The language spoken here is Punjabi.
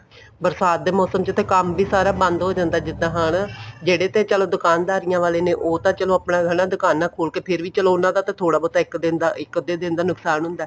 ਬਰਸਾਤ ਦੇ ਮੋਸਮ ਚ ਤਾਂ ਕੰਮ ਵੀ ਸਾਰਾ ਬੰਦ ਹੋ ਜਾਂਦਾ ਜਿੱਦਾਂ ਹਨਾ ਜਿਹੜੇ ਤੇ ਚਲੋ ਦੁਕਾਨ ਦਾਰੀਆਂ ਵਾਲੇ ਨੇ ਉਹ ਤਾਂ ਚਲੋ ਆਪਣੀਆਂ ਦੁਕਾਨਾ ਖੋਲ ਕੇ ਫ਼ੇਰ ਵੀ ਚਲੋ ਉਹਨਾ ਦਾ ਤਾਂ ਥੋੜਾ ਬਹੁਤਾ ਇੱਕ ਦਿਨ ਦਾ ਇੱਕ ਅੱਧੇ ਦਿਨ ਦਾ ਨੁਕਸਾਨ ਹੁੰਦਾ